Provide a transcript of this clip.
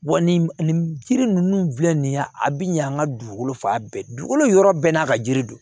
Wa nin nin jiri ninnu filɛ nin ye a bɛ ɲɛ an ka dugukolo fa bɛɛ dugukolo yɔrɔ bɛɛ n'a ka yiri don